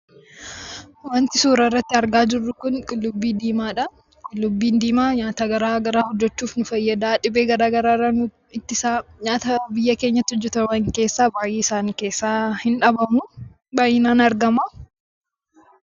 Wanti suuraa irratti argaa jirru kun qullubbii diimaa dha. Qullubbiin diimaa nyaata garaagaraa hojjechuuf nu fayyada. Dhibee garaagaraa irraa nu ittisa. Nyaata biyya keenyatti hojjetaman keessaa baay'ee isaanii keessaa hin dhabamuu. Baay'inaan argama.